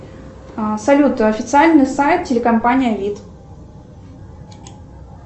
салют официальный сайт телекомпания вид